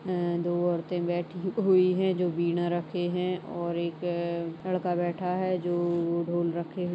अअअ दो औरतें बैठी हु-हुई हैं जो वीणा रखे हैं और एक लड़का बैठा हैं जो ढोल रखे--